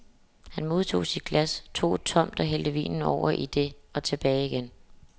Han modtog sit glas, tog et tomt og hældte vinen over i det og tilbage igen.